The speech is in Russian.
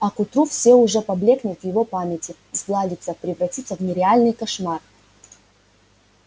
а к утру всё уже поблёкнет в его памяти сгладится превратится в нереальный кошмар